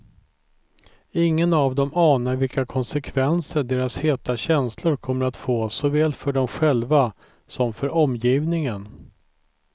Ingen av dem anar vilka konsekvenser deras heta känslor kommer att få, såväl för dem själva som för omgivningen.